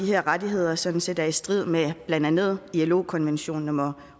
her rettigheder sådan set er i strid med blandt andet ilo konvention nummer